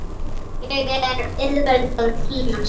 Hér er auðvelt að týnast.